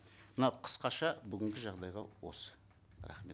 мына қысқаша бүгінгі жағдайға осы рахмет